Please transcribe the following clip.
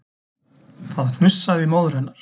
Það hnussaði í móður hennar